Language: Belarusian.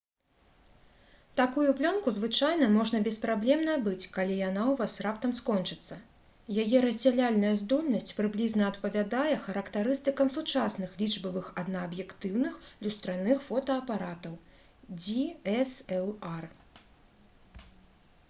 такую плёнку звычайна можна без праблем набыць калі яна ў вас раптам скончыцца. яе раздзяляльная здольнасць прыблізна адпавядае характарыстыкам сучасных лічбавых аднааб'ектыўных люстраных фотаапаратаў dslr